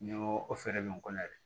N'i ko o fɛɛrɛ bɛ n kɔnɔ yɛrɛ